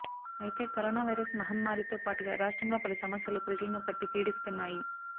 అయితే corona virus మహమ్మారి తో పాటుగా రాష్ట్రంలో పలు సమస్యలు ప్రజలను పట్టి పీడిస్తున్నాయి